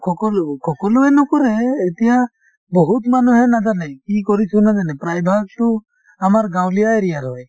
সকলো সকলোৱে নকৰে , এতিয়া বহুত মানুহে নাজানে কি প্ৰায়ভাগটো আমাৰ গাঁৱলীয়া area ৰ হয়